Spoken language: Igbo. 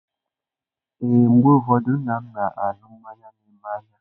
Ee, mgbe ụfọdụ nna m na-aṅụ mmanya na eme n'anya.